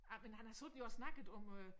Ej men han har siddet jo og snakket om øh